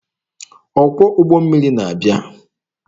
Ọkwọ ụgbọ mmiri na-abịa.